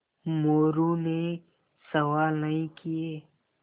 मोरू ने सवाल नहीं किये